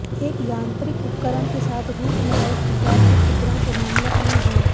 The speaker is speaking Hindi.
एक यांत्रिक उपकरण के साथ रूट नहर दीवार के छिद्रण के मामले आम हैं